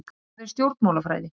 Hvað er stjórnmálafræði?